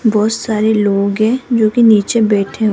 बहोत सारे लोग हैं जो कि नीचे बैठे हुए--